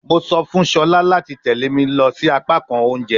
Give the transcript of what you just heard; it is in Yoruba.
Mo sọ fun Shola lati tẹle mi si apakan ounjẹ